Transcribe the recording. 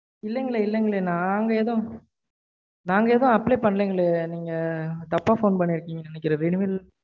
இல்லைங்கலெய் இல்லைங்கலெய் நாங்கேதும் apply பண்ணலைங்களே நீங்க தப்பா phone பண்ணிருகீங்கன்னு நினைக்கறேன் renewal